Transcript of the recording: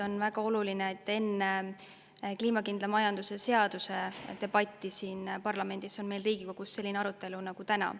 On väga oluline, et enne kliimakindla majanduse seaduse debatti siin parlamendis on meil Riigikogus selline arutelu nagu täna.